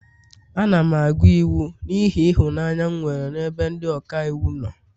Ana m agụ iwu n'ihi ịhụnanya m nwere n'ebe ndị ọka iwu nọ